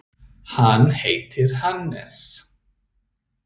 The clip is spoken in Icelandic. Hann heitir Hannes.